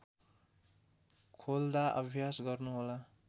खोल्दा अभ्यास गर्नुहोला